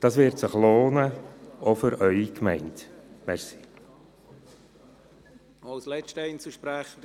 Das wird sich lohnen, auch für Ihre Gemeinde.